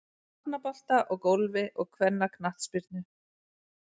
Hafnabolta og Golfi og kvennaknattspyrnu.